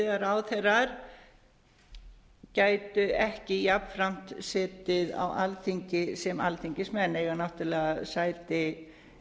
getið að ráðherrar gætu ekki jafnframt setið á alþingi sem alþingismenn eiga náttúrlega sæti